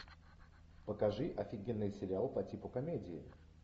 покажи офигенный сериал по типу комедии